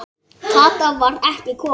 Kata var ekki komin.